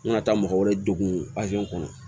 N ka taa mɔgɔ wɛrɛ degun kɔnɔ